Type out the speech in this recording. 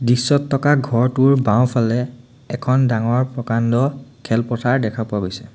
দৃশ্যত থকা ঘৰটোৰ বাওঁফালে এখন ডাঙৰ প্ৰকাণ্ড খেলপথাৰ দেখা পোৱা গৈছে।